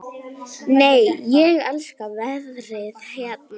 Nei, ég elska veðrið hérna!